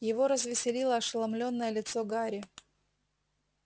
его развеселило ошеломлённое лицо гарри